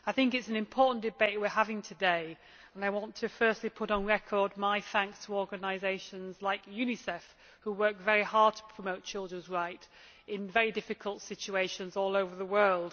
Mr President, I think it is an important debate we are having today, and I want to firstly put on record my thanks to organisations like UNICEF which work very hard to promote children's rights in very difficult situations all over the world.